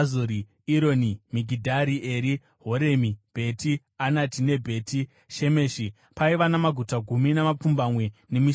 Ironi, Migidhari Eri, Horemi, Bheti Anati neBheti Shemeshi. Paiva namaguta gumi namapfumbamwe nemisha yawo.